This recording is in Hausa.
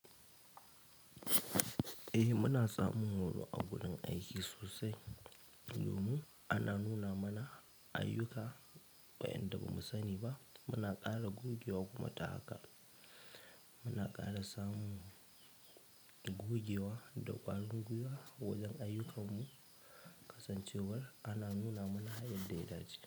Eh muna samun horo a wurin aiki sosai. Domin ana nuna mana ayyuka wa'inda bamu sani ba. Muna ƙara gogewa kuma ta haka. Muna ƙara samun gogewa da ƙwarin guiwa wajen ayyukanmu kasancewar ana nuna mana yadda ya dace.